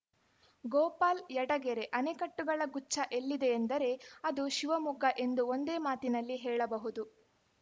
ಗೋಪಾಲ್‌ ಯಡಗೆರೆ ಅಣೆಕಟ್ಟುಗಳ ಗುಚ್ಛ ಎಲ್ಲಿದೆ ಎಂದರೆ ಅದು ಶಿವಮೊಗ್ಗ ಎಂದು ಒಂದೇ ಮಾತಿನಲ್ಲಿ ಹೇಳಬಹುದು